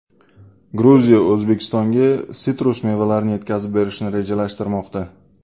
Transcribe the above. Gruziya O‘zbekistonga sitrus mevalarini yetkazib berishni rejalashtirmoqda.